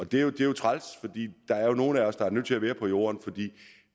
det er jo træls fordi der er nogle af os der er nødt til at være på jorden fordi